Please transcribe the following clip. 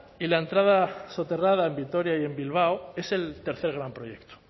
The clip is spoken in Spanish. y la entrada soterrada en vitoria y en bilbao es el tercer gran proyecto